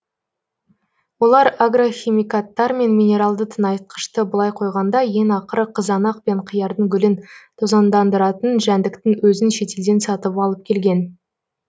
олар агрохимикаттар мен минералды тыңайтқышты былай қойғанда ең ақыры қызанақ пен қиярдың гүлін тозаңдандыратын жәндіктің өзін шетелден сатып алып келген